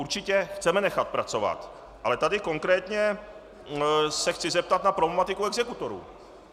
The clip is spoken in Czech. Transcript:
Určitě chceme nechat pracovat, ale tady konkrétně se chci zeptat na problematiku exekutorů.